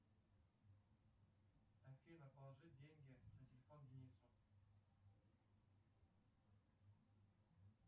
афина положить деньги на телефон денису